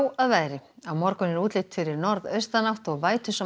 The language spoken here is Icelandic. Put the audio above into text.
að veðri á morgun er útlit fyrir norðaustanátt og